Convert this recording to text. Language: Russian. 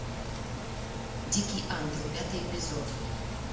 дикий ангел пятый эпизод